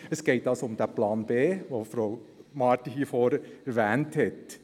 Es geht also um diesen Plan B, den Frau Marti hier vorne erwähnt hat.